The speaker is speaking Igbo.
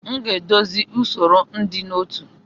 M ga-edozi usoro ịdị n'otu.